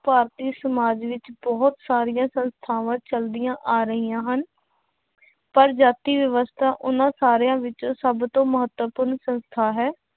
ਭਾਰਤੀ ਸਮਾਜ ਵਿੱਚ ਬਹੁਤ ਸਾਰੀਆਂ ਸੰਸਥਾਵਾਂ ਚੱਲਦੀਆਂਂ ਆ ਰਹੀਆਂ ਹਨ ਪਰ ਜਾਤੀ ਵਿਵਸਥਾ ਉਹਨਾਂ ਸਾਰਿਆਂ ਵਿੱਚੋਂ ਸਭ ਤੋਂ ਮਹੱਤਵਪੂਰਨ ਸੰਸਥਾ ਹੈ,